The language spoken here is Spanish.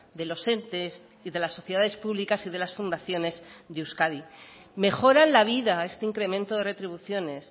de los entes y de las sociedades públicas y de las fundaciones de euskadi mejoran la vida este incremento de retribuciones